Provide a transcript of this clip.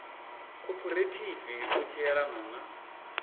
khophorethivi u tshi elana na